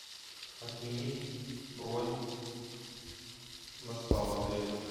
отменить бронь на спа в отеле